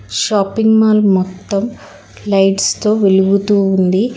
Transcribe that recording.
Shopping mall మొత్తం lights తో వెలుగుతూ ఉంది.